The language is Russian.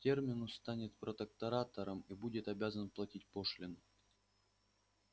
терминус станет протекторатом и будет обязан платить пошлину